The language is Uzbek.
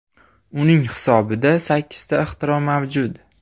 Uning hisobida sakkizta ixtiro mavjud.